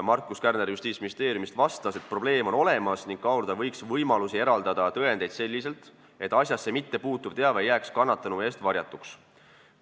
Markus Kärner Justiitsministeeriumist vastas, et probleem on olemas ning kaaluda võiks võimalusi eraldada tõendeid selliselt, et asjasse puutumatu teave jääks kannatanu eest varjatuks.